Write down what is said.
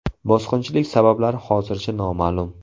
Bosqinchilik sabablari hozircha noma’lum.